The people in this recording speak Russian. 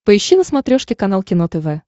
поищи на смотрешке канал кино тв